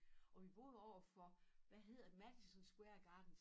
Og vi boede overfor hvad hedder Madison Square Garden